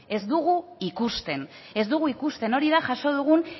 ez dugu ikusten ez dugu ikusten hori da jaso dugun